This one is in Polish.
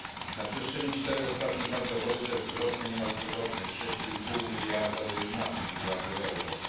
Na przestrzeni czterech ostatnich lat dochody te wzrosły niemal dwukrotnie z 6,5 miliarda do 11 miliardów euro.